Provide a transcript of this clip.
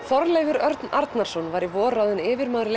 Þorleifur Örn Arnarson var í vor ráðinn yfirmaður